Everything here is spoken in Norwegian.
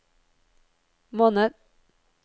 måned